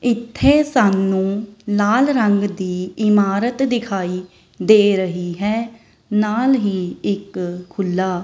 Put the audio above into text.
ਇੱਥੇ ਸਾਨੂੰ ਲਾਲ ਰੰਗ ਦੀ ਇਮਾਰਤ ਦਿਖਾਈ ਦੇ ਰਹੀ ਹੈ ਨਾਲ ਹੀ ਇੱਕ ਖੁੱਲਾ --